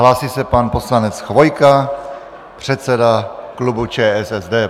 Hlásí se pan poslanec Chvojka, předseda klubu ČSSD.